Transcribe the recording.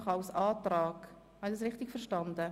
Habe ich das richtig verstanden?